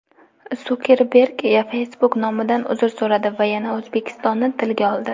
Sukerberg Facebook nomidan uzr so‘radi va yana O‘zbekistonni tilga oldi.